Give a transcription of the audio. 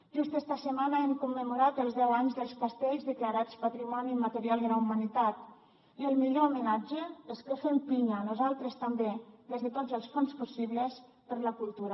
just esta setmana hem commemorat els deu anys dels castells declarats patrimoni immaterial de la humanitat i el millor homenatge és que fem pinya nosaltres també des de tots els fronts possibles per la cultura